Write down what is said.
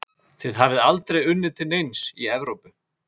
Þið hafið aldrei unnið til neins í Evrópu?